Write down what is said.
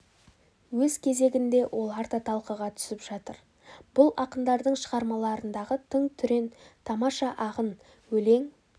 өз кезегінде олар да талқыға түсіп жатыр бұл ақындардың шығармаларындағы тың түрен тамаша ағын өлең